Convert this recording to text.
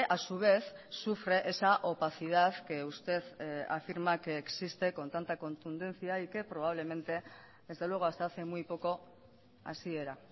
a su vez sufre esa opacidad que usted afirma que existe con tanta contundencia y que probablemente desde luego hasta hace muy poco así era